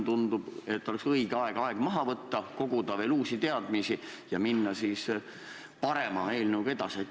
Tundub, et praegu oleks õige aeg maha võtta, koguda veel uusi teadmisi ja minna siis parema eelnõuga edasi.